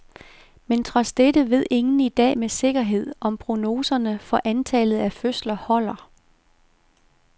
Men trods dette ved ingen i dag med sikkerhed, om prognoserne for antallet af fødsler holder.